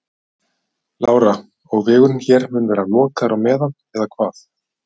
Lára: Og vegurinn hér mun vera lokaður á meðan eða hvað?